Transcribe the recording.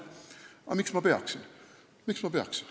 Aga miks ma peaksin?